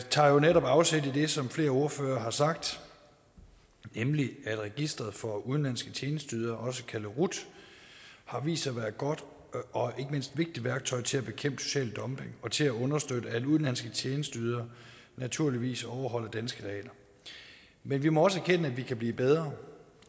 tager jo netop afsæt i det som flere ordførere har sagt nemlig at registret for udenlandske tjenesteydere også kaldet rut har vist sig at være et godt og ikke mindst vigtigt værktøj til at bekæmpe social dumping og til at understøtte at udenlandske tjenesteydere naturligvis overholder danske regler men vi må også erkende at vi kan blive bedre